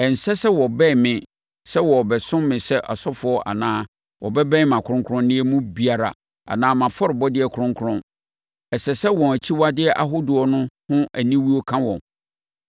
Ɛnsɛ sɛ wɔbɛn me sɛ wɔrebɛsom me sɛ asɔfoɔ anaasɛ wɔbɛn mʼakronkronneɛ mu biara anaa mʼafɔrebɔdeɛ kronkron; ɛsɛ sɛ wɔn akyiwadeɛ ahodoɔ ho aniwuo ka wɔn.